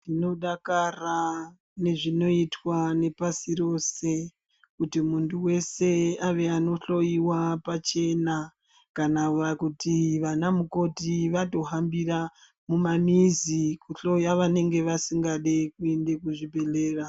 Tinodakara nezvinoitwa nepasi rose kuti muntu wese ave anohloyiwa pachena kana kuti vana mukoti vatohambira mumamiza kuhloya vanenge vasingadi kuende kuzvibhehlera